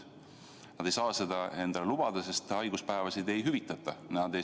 Nad ei saa seda endale lubada, sest haiguspäevi ei hüvitata.